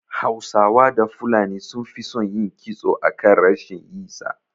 Hausawa da fulani sun fi son yin kitso akan rashin yi sa